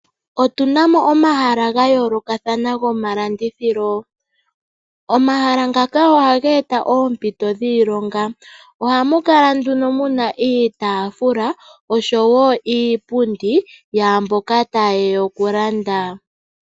Otu na mo omahala ga yoolokathana gomalandithilo. Omahala ngaka ohaga eta oompito dhiilonga. Ohamu kala nduno mu na iitaafula oshowo iipundi yaamboka taye ya okulanda.